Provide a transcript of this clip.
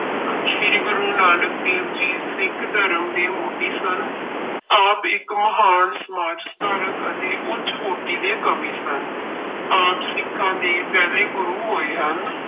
ਸ੍ਰੀ ਗੁਰੂ ਨਾਨਕ ਦੇਵ ਜੀ ਸਿੱਖ ਧਰਮ ਦੇ ਮੋਢੀ ਸਨ, ਆਪ ਇੱਕ ਮਹਾਨ ਸਮਾਜ ਸੁਧਾਰਕ ਅਤੇ ਉੱਚ ਕੋਟੀ ਦੇ ਕਵੀ ਸਨ ਆਪ ਸਿੱਖਾਂਂ ਦੇ ਪਹਿਲੇ ਗੁਰੂ ਹੋਏ ਹਨ।